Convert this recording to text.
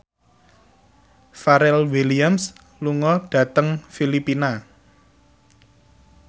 Pharrell Williams lunga dhateng Filipina